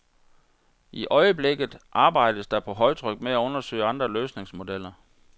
I øjeblikket arbejdes der på højtryk med at undersøge andre løsningsmodeller.